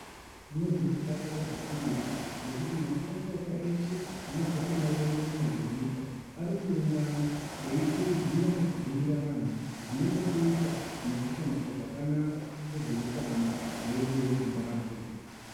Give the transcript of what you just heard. Ndinozwe kudakara zvikurutu ngekuti makurukota eshe anobva kundau rongomuna dzenyika ariku ungana eyikurudzira neku bhuyira anhu zvine chekuita nekushandiswa zvakanaka kwezveutano wedu we zimbabwe